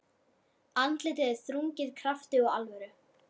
Andlitið er þrungið krafti og alvöru.